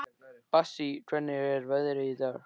Bassí, hvernig er veðrið í dag?